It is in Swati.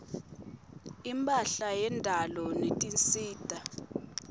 imphahla yendalo netinsita